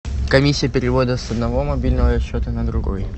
комиссия перевода с одного мобильного счета на другой